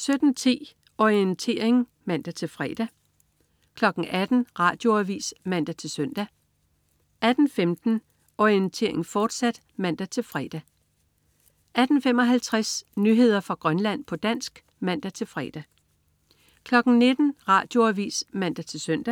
17.10 Orientering (man-fre) 18.00 Radioavis (man-søn) 18.15 Orientering, fortsat (man-fre) 18.55 Nyheder fra Grønland, på dansk (man-fre) 19.00 Radioavis (man-søn)